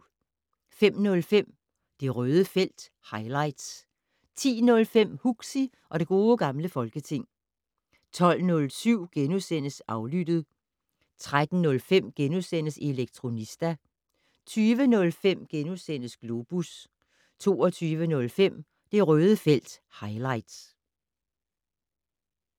05:05: Det Røde felt - highlights 10:05: Huxi og det gode gamle folketing 12:07: Aflyttet * 13:05: Elektronista * 20:05: Globus * 22:05: Det Røde felt - highlights